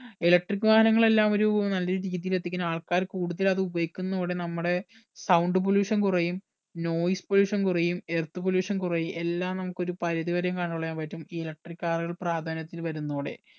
eletric വാഹനങ്ങൾ എല്ലാം ഒരു നല്ലൊരു രീതിയിൽ എത്തിക്കാൻ ആൾക്കാർ കൂടുതൽ അത് ഉപയോഗിക്കന്നോടെ നമ്മുടെ sound pollution കുറയും pollution കുറയും earth pollution കുറയും എല്ലാം നമുക്ക് ഒരു പരിധി വരെയും control ചെയ്യാൻ പറ്റും ഈ electric car കൾ പ്രധാന്യത്തിൽ വരുന്നതോടെ